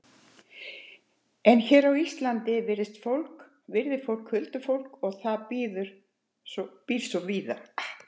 En hér á Íslandi virðir fólk huldufólkið og það býr svo víða hér.